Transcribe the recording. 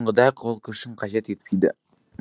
бұндай қол күшін қажет етпейді